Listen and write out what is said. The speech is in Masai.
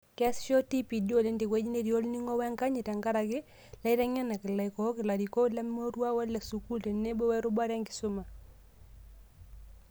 Keasisho TPD oleng' tewueji netii olning'o wenkanyit tenkaraki, ilaitekenak, ilaikook, ilarikok lemurua ole sukuul tenebo werubata enkisuma